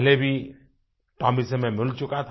पहले भी टोमी से मैं मिल चुका था